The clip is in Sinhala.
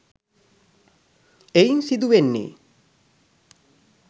ඒයින් සිදු වෙන්නේ